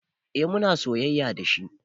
Eh muna soyayya dashi